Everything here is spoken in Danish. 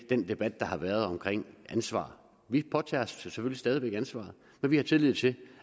den debat der har været om ansvar vi påtager os selvfølgelig stadig væk ansvaret for vi har tillid til